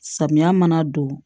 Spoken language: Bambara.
Samiya mana don